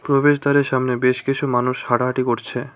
প্রবেশদ্বারের সামনে বেশ কিছু মানুষ হাঁটাহাঁটি করছে।